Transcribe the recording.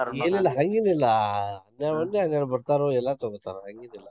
ಇಲ್ಲಿಲ್ಲ ಹಂಗೇನಿಲ್ಲಾ. ಬರ್ತಾರು ಎಲ್ಲಾ ತಗೋತಾರು ಹಂಗೇನಿಲ್ಲಾ.